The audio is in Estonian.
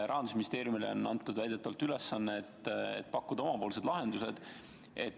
Rahandusministeeriumile on väidetavalt antud ülesanne pakkuda omapoolseid lahendusi.